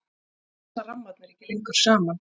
þá passa rammarnir ekki lengur saman